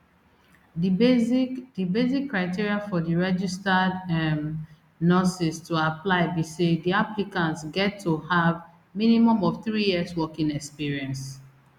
di basic di basic criteria for di registered um nurses to apply be say di applicants get to have minimum of three years working experience